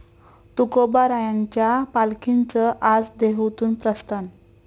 तुकोबारायांच्या पालखीचं आज देहूतून प्रस्थान